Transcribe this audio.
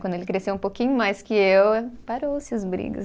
Quando ele cresceu um pouquinho mais que eu, parou-se as brigas.